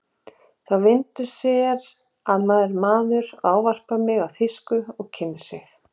Þá vindur sér að mér maður, ávarpar mig á þýsku og kynnir sig.